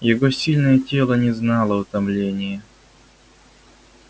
его сильное тело не знало утомления